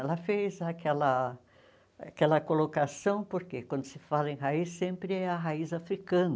Ela fez aquela aquela colocação porque, quando se fala em raiz, sempre é a raiz africana.